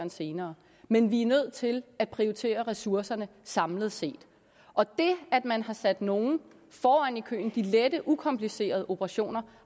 senere men vi er nødt til at prioritere ressourcerne samlet set og det at man har sat nogle de lette ukomplicerede operationer